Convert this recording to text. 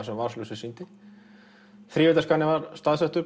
sem vasaljósið sýndi þrívíddarskanninn var staðsettur